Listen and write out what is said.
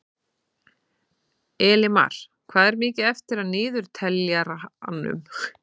Elimar, hvað er mikið eftir af niðurteljaranum?